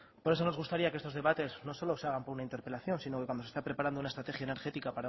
por eso nos gustaría que estos debates no solo se hagan por una interpelación sino que cuando se esté preparando una estrategia energética